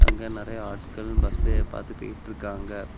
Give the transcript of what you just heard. அங்கே நெறைய ஆட்கள் பஸ்ச பாத்து போயிட்டு இருக்காங்க.